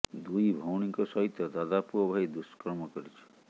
ଦୁଇ ଭଉଣୀଙ୍କ ସହିତ ଦାଦା ପୁଅ ଭାଇ ଦୁଷ୍କର୍ମ କରିଛି